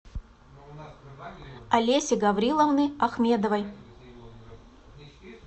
олеси гавриловны ахмедовой